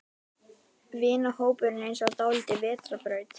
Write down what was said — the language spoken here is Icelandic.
Vinahópurinn er eins og dálítil vetrarbraut.